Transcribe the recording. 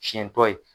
Siɲɛ dɔ ye